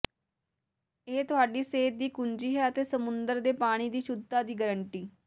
ਇਹ ਤੁਹਾਡੀ ਸਿਹਤ ਦੀ ਕੁੰਜੀ ਹੈ ਅਤੇ ਸਮੁੰਦਰ ਦੇ ਪਾਣੀ ਦੀ ਸ਼ੁੱਧਤਾ ਦੀ ਗਾਰੰਟੀ